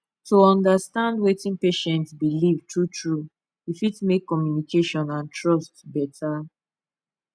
to understand wetin patient believe truetrue e fit make communication and trust better